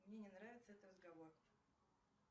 мне не нравится этот разговор